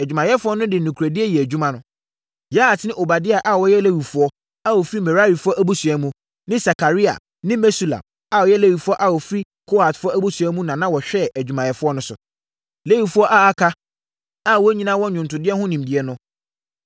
Adwumayɛfoɔ no de nokorɛdie yɛɛ adwuma. Yahat ne Obadia a wɔyɛ Lewifoɔ a wɔfiri Merarifoɔ abusua mu, ne Sakaria ne Mesulam a wɔyɛ Lewifoɔ a wɔfiri Kohatfoɔ abusua mu na wɔhwɛɛ adwumafoɔ no so. Lewifoɔ a aka a wɔn nyinaa wɔ nnwontodeɛ ho nimdeɛ no,